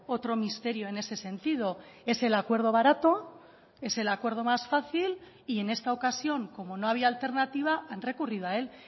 otro misterio en ese sentido es el acuerdo barato es el acuerdo más fácil y en esta ocasión como no había alternativa han recurrido a él